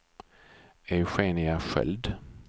Eugenia Sköld